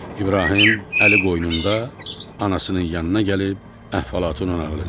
İbrahim əli qoynunda anasının yanına gəlib əhvalatını nağıl elədi.